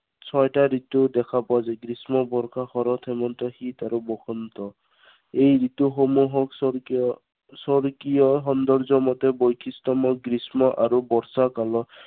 ছয়টা ঋতু দেখা পোৱা যায়। গ্ৰীস্ম, বৰ্ষা, শৰৎ, হেমন্ত, শীত আৰু বসন্ত। এই ঋতুসমূহক স্বকীয়, স্বৰ্গীয় সৌন্দৰ্য মতে বৈশিষ্ট্য়ময় গ্ৰীস্ম আৰু বৰ্ষা কালত